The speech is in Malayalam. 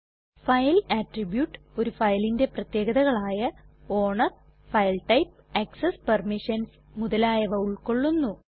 ഫൈൽ അട്രിബ്യൂട്ട് ഒരു ഫയലിന്റെ പ്രത്യേകതകളായ owner file type access permissions മുതലായവ ഉൾകൊള്ളുന്നു